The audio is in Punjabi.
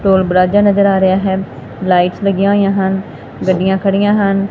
ਟੋਲ ਪਲਾਜ਼ਾ ਨਜ਼ਰ ਆ ਰਿਹਾ ਹੈ ਲਾਈਟਸ ਲੱਗੀਆਂ ਹੋਈਆਂ ਹਨ ਗੱਡੀਆਂ ਖੜੀਆਂ ਹਨ।